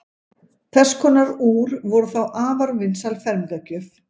þess konar úr voru þá afar vinsæl fermingargjöf